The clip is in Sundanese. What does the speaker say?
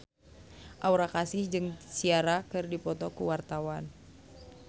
Aura Kasih jeung Ciara keur dipoto ku wartawan